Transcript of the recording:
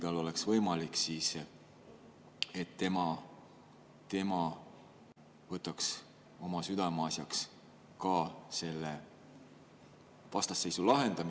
Ma tõesti kasutasin seda võimalust ja pöördusin härra presidendi poole sellise palvega.